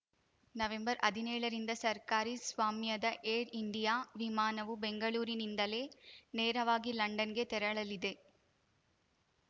ನವೆಂಬರ್ಹದಿನೇಳರಿಂದ ಸರ್ಕಾರಿ ಸ್ವಾಮ್ಯದ Air India ವಿಮಾನವು ಬೆಂಗಳೂರಿನಿಂದಲೇ ನೇರವಾಗಿ ಲಂಡನ್‌ಗೆ ತೆರಳಲಿದೆ